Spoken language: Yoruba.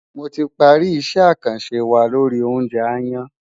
Mo ti parí isẹ́ àkànṣe wa lori oúnjẹ aáyán.